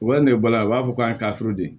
U ka nɛgɛ bɔla u b'a fɔ k'a ye taa di